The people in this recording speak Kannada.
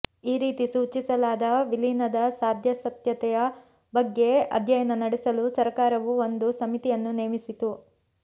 ಈ ರೀತಿ ಸೂಚಿಸಲಾದ ವಿಲೀನದ ಸಾಧ್ಯಾಸಾಧ್ಯತೆಯ ಬಗ್ಗೆ ಅಧ್ಯಯನ ನಡೆಸಲು ಸರಕಾರವು ಒಂದು ಸಮಿತಿಯನ್ನು ನೇಮಿಸಿತು